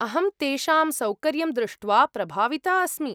अहं तेषां सौकर्यं दृष्ट्वा प्रभाविता अस्मि।